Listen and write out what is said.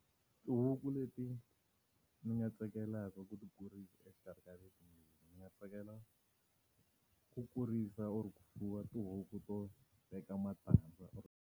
Tihuku leti ni nga tsakelaka ku ti kurisa exikarhi ka letimbirhi, ndzi nga tsakela ku kurisa or ku fuwa tihuku to veka matandza or.